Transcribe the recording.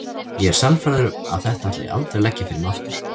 Ég er sannfærður um að þetta ætla ég aldrei að leggja fyrir mig aftur.